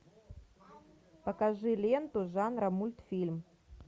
покажи ленту жанра мультфильм